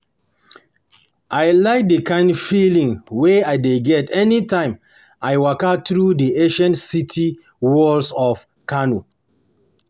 I like d kind feeling wey I dey get anytime I waka through di ancient city walls of Kano